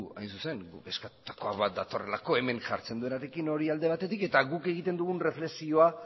hain zuzen guk eskatutakoa bat datorrelako hemen jartzen duenarekin hori alde batetik eta guk egiten dugun erreflexioa